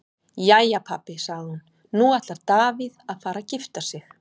Jæja pabbi, sagði hún, nú ætlar Davíð að fara að gifta sig.